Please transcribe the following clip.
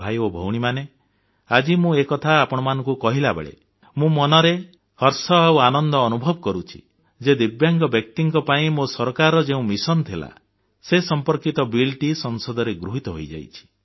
ଭାଇ ଓ ଭଉଣୀମାନେ ଆଜି ମୁଁ ଏ କଥା ଆପଣଙ୍କୁ କହିଲାବେଳେ ମନରେ ହର୍ଷ ଆଉ ଆନନ୍ଦ ଅନୁଭବ କରୁଛି ଯେ ଦିବ୍ୟାଙ୍ଗ ବ୍ୟକ୍ତିଙ୍କ ପାଇଁ ମୋ ସରକାରର ଯେଉଁ ଲକ୍ଷ ଥିଲା ସେ ସମ୍ପର୍କିତ ବିଲଟି ସଂସଦରେ ଗୃହୀତ ହୋଇଯାଇଛି